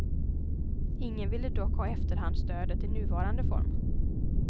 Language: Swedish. Ingen ville dock ha efterhandsstödet i nuvarande form.